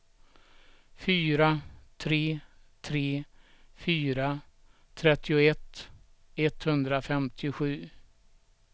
fyra tre tre fyra trettioett etthundrafemtiosju